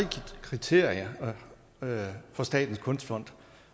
kriterier for statens kunstfond